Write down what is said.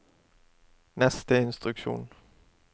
neste instruksjon